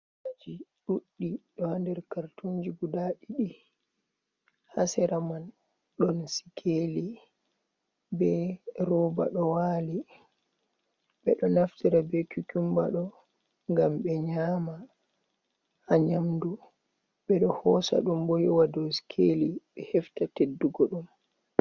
Kukumbaaji ɗuɗɗi, ɗo haa nder kartunji guda ɗiɗi, haa sera man, ɗon sikeeli be rooba ɗo waali. Be ɗo naftira be kukumba ɗo, ngam ɓe nyaama haa nyamdu, ɓe ɗo hoosa ɗum bo, yowa dow sikeeli, ɓe hefta teddugo ɗum.